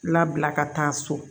Labila ka taa so